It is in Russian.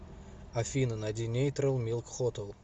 афина найди нейтрал милк хотел